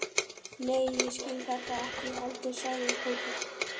Nei, ég skil þetta ekki heldur sagði Tóti.